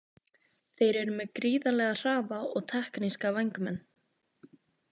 Þeir eru með gríðarlega hraða og tekníska vængmenn.